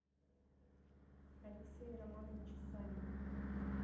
алексее романовиче савине